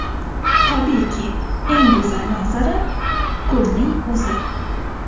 Tabiiyki, eng go‘zal manzara ko‘lning o‘zi.